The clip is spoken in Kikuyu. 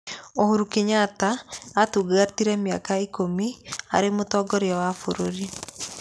Uhuru Kenyatta aatungatire mĩaka ikũmi arĩ mũtongoria wa bũrũri.